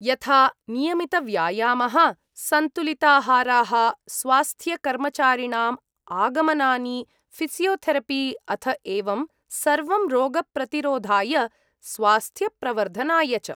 यथा नियमितव्यायामः, सन्तुलिताहाराः, स्वास्थ्यकर्मचारिणाम् आगमनानि, फ़िसियोथेरपि, अथ एवं सर्वं रोगप्रतिरोधाय स्वास्थ्यप्रवर्धनाय च।